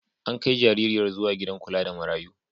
An kai jaririyar zuwa gidan kula da marayu.